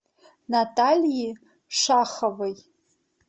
натальи шаховой